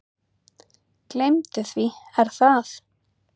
Gleymdu því Er það?